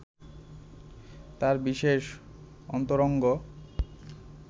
তার বিশেষ অন্তরঙ্গ